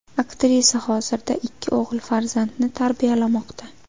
Aktrisa hozirda ikki o‘g‘il farzandni tarbiyalamoqda.